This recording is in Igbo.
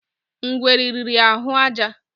Ngwere riri ahụ àjà